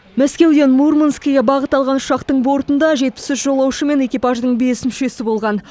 мәскеуден мурманскіге бағыт алған ұшақтың бортында жетпіс үш жолаушы мен экипаждың бес мүшесі болған